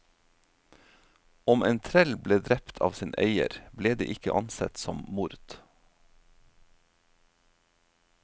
Om en trell ble drept av sin eier, ble det ikke ansett som mord.